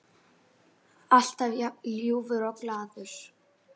Alltaf jafn ljúfur og glaður.